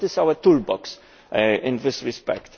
What is our toolbox in this respect?